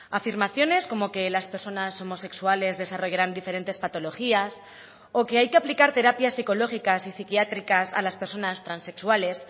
afirmaciones como que las personas homosexuales desarrollarán diferentes patologías o que hay que aplicar terapias psicológicas y psiquiátricas a las personas transexuales